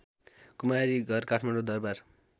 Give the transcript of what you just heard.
Kumari Ghar Kathmandu Darbar